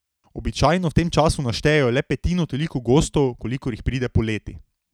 Običajno v tem času naštejejo le petino toliko gostov, kolikor jih pride poleti.